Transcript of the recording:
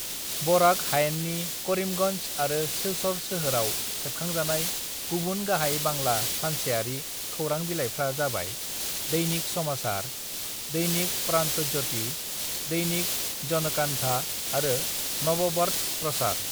"Barack हायेननि करीमगंज आरो सिलचर सोहोराव सेबखांजानाय गुबुन गाहाय बांला सानसेयारि खौरांबिलाइफ्रा जाबाय - दैनिक समाचार, दैनिक प्रांत'ज्य'ति, दैनिक जनकांठा आरो नबबर्त प्रसार।"